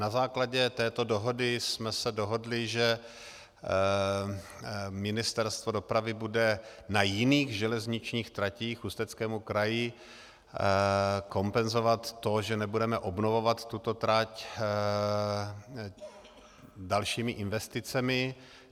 Na základě této dohody jsme se dohodli, že Ministerstvo dopravy bude na jiných železničních tratích k Ústeckému kraji kompenzovat to, že nebudeme obnovovat tuto trať, dalšími investicemi.